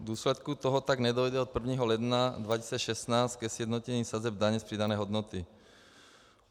V důsledku toho tak nedojde od 1. ledna 2016 ke sjednocení sazeb daně z přidané hodnoty.